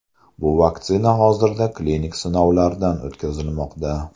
Bu vaksina hozirda klinik sinovlardan o‘tkazilmoqda.